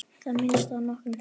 Í það minnsta nokkrum þeirra.